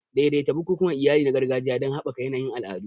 Daidaita bukukuwan iyali na gargajiya don haɓaka yanayin al'adu.